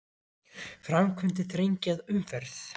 Framkvæmdir þrengja að umferð